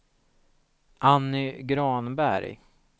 Anny Granberg